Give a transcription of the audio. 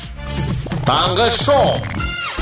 таңғы шоу